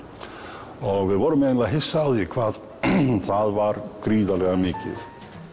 og vorum eiginlega hissa á því hvað það var gríðarlega mikið